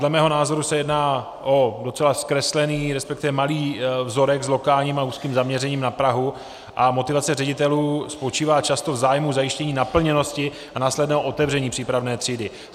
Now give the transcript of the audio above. Dle mého názoru se jedná o docela zkreslený, respektive malý vzorek s lokálním a úzkým zaměřením na Prahu a motivace ředitelů spočívá často v zájmu zajištění naplněnosti a následného otevření přípravné třídy.